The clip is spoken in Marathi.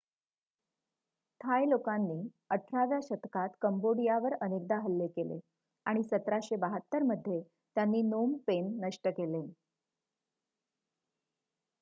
थाय लोकांनी 18 व्या शतकात कंबोडियावर अनेकदा हल्ले केले आणि 1772 मध्ये त्यांनी नोम पेन नष्ट केले